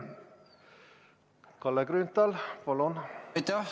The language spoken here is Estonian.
Kalle Grünthal, palun!